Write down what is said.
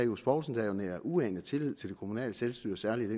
johs poulsen der jo nærer uanet tillid til det kommunale selvstyre særligt